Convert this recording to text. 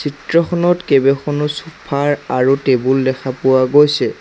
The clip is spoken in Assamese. চিত্ৰখনত কেইবেখনো চুফা ৰ আৰু টেবুল দেখা পোৱা গৈছে।